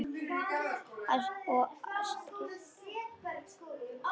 Birgir: Og stríða manni.